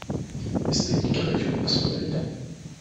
бесстыдники хочу посмотреть